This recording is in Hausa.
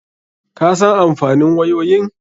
Ka san amfanin wayoyin?